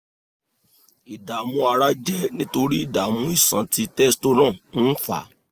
ìdààmú ara jẹ́ nítorí ìdààmú iṣan tí testosterone ń fà